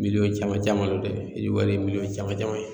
Miliyɔn caman caman dɛ hiji wari ye miliyɔn caman caman ye